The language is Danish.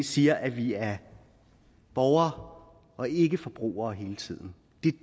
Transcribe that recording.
siger at vi er borgere og ikke forbrugere hele tiden